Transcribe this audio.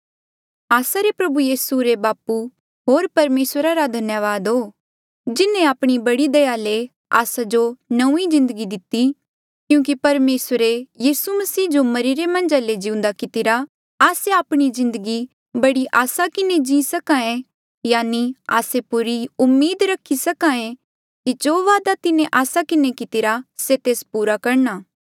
आस्सा रे प्रभु मसीह यीसू रे बापू होर परमेसर धन्यावाद हो जिन्हें आपणी बड़ी दया ले आस्सा जो नौंईं जिन्दगी दिती क्यूंकि परमेसरे यीसू मसीह जो मरिरे मन्झा ले जिउंदा कितिरा आस्से आपणी जिन्दगी बड़ी आसा किन्हें जी सके यानि आस्से पूरी उम्मीद रखी सके की जो वादा तिन्हें आस्सा किन्हें कितिरा से तेस पूरा करणा